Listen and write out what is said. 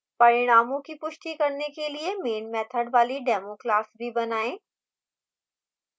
परिणामों की पुष्टि करने के लिए main मैथड वाली demo class भी बनाएं